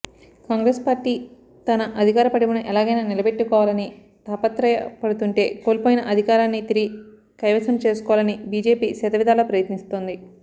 Congress party తన అధికారపటిమను ఎలాగైనా నిలబెట్టుకోవాలని తాపత్రయపడుతుంటే కోల్పోయిన అధికారాన్ని తిరిగి కైవసంచేసుకోవాలని బిజెపి శతవిధాలా ప్రయత్నిస్తోంది